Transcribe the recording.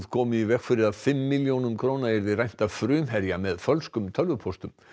komu í veg fyrir að fimm milljónum yrði rænt af Frumherja með fölskum tölvupóstum